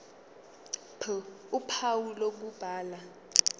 ph uphawu lokubhala